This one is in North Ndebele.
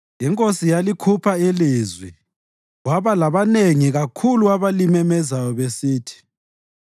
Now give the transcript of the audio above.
INkosi yalikhupha ilizwi, kwaba labanengi kakhulu abalimemezelayo besithi,